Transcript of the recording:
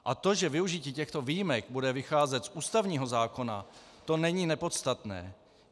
A to, že využití těchto výjimek bude vycházet z ústavního zákona, to není nepodstatné.